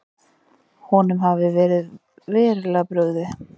Honum hafi verið verulega brugðið.